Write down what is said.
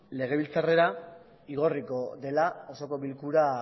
legebiltzarrera igorriko dela osoko bilkura